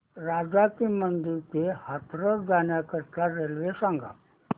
राजा की मंडी ते हाथरस जाण्यासाठी रेल्वे सांग